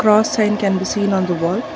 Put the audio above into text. cross sign can be seen on the wall.